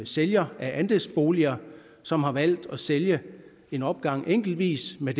sælger af andelsboliger som har valgt at sælge en opgang enkeltvis med